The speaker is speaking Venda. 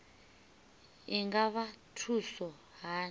i nga vha thusa hani